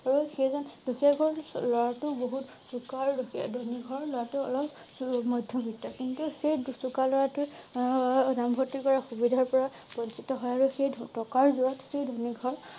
আৰু সেইজন দুখীয়া ঘৰৰ লৰা টো বহুত চোকা আৰু ধনী ঘৰৰ লৰা টো অলপ সুমধ্য বৃত্ত। কিন্তু সেই দুচোকা লৰা টো এ নাম ভৰ্তি কৰা সুবিধাৰ পৰা বঞ্চিত হয় আৰু সেই টকাৰ যুৰত সেই ধনী ঘৰৰ